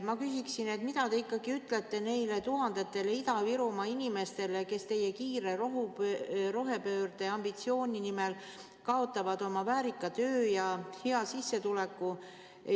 Ma küsiksin, mida te ikkagi ütlete neile tuhandetele Ida-Virumaa inimestele, kes teie kiire rohepöörde ambitsiooni nimel kaotavad oma väärika töö ja hea sissetuleku.